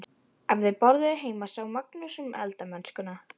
Ef þau borðuðu heima sá Magnús um eldamennskuna.